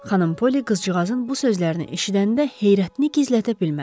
Xanım Poli qızcığazın bu sözlərini eşidəndə heyrətini gizlədə bilmədi.